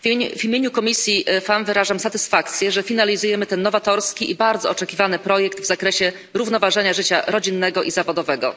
W imieniu komisji FEMM wyrażam satysfakcję, że finalizujemy ten nowatorski i bardzo oczekiwany projekt w zakresie równoważenia życia rodzinnego i zawodowego.